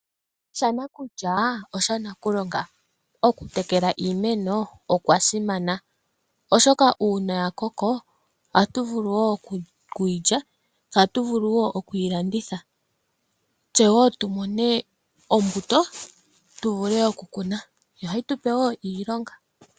Shanakulya osha nakulonga. Okutekela iimeno okwa simana oshoka uuna ya koko, atu vulu wo okuyi lya se atu vulu wo okuyi landitha. Tse wo tu mone ombuto tu vule okukuna, yo ohayi tupe wo iilonga.